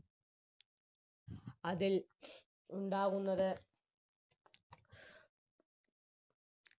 അതിൽ ഉണ്ടാകുന്നത്